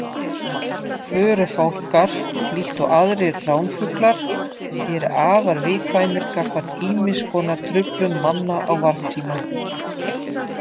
Förufálkar, líkt og aðrir ránfuglar, eru afar viðkvæmir gagnvart ýmis konar truflun manna á varptíma.